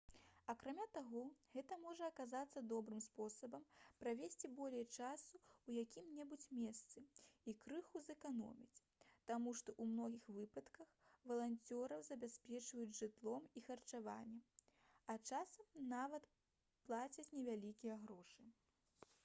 акрамя таго гэта можа аказацца добрым спосабам правесці болей часу ў якім-небудзь месцы і крыху зэканоміць таму што ў многіх выпадках валанцёраў забяспечваюць жытлом і харчаваннем а часам нават плацяць невялікія грошы